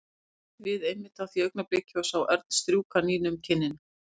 Lúlli leit við einmitt á því augnabliki og sá Örn strjúka Nínu um kinnina.